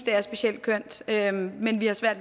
er specielt kønt